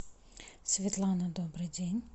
светлана добрый день